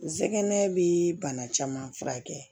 Zɛgɛnɛ bi bana caman furakɛ